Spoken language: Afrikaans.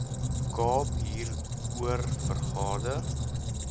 kaap hieroor vergader